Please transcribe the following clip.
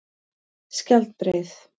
Skjaldbreið